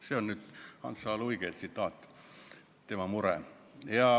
See on üks Hans H. Luige tsitaat, see oli tema mure.